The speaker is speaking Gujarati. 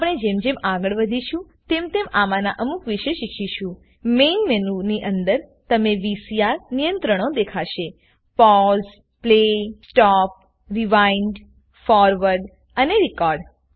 આપને જેમ જેમ આગળ વધીશું તેમ તેમ આમાંના અમુક વિશે શીખીશું મેન મેનુ ની અંદર તમને વીસીઆર નિયંત્રણો દેખાશે pause play stop rewind forward અને રેકોર્ડ